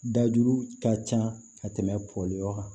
Dajuru ka ca ka tɛmɛ bɔli yɔrɔ kan